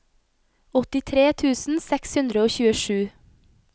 åttitre tusen seks hundre og tjuesju